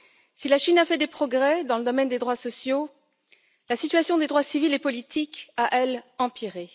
Si la Chine a fait des progrès dans le domaine des droits sociaux, la situation des droits civils et politiques a, elle, empiré.